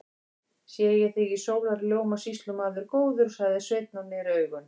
Sé ég þig í sólarljóma, sýslumaður góður, sagði Sveinn og neri augun.